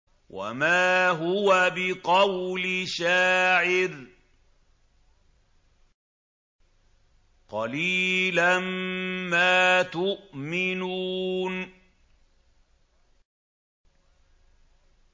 وَمَا هُوَ بِقَوْلِ شَاعِرٍ ۚ قَلِيلًا مَّا تُؤْمِنُونَ